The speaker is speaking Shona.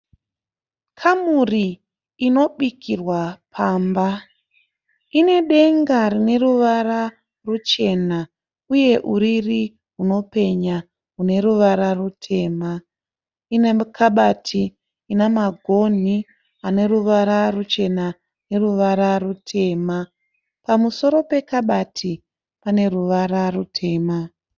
Kamuri inobikirwa pamba inedenga rine ruvara ruchena uye uriri runopenya rune ruvara rutema, ine kabati ine magoni aneruvara ruchena neruvara rutema. Pamusoro pekabati pane ruvara rutema.